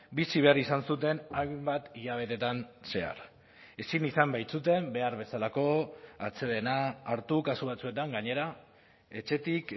bizi behar izan zuten hainbat hilabetetan zehar ezin izan baitzuten behar bezalako atsedena hartu kasu batzuetan gainera etxetik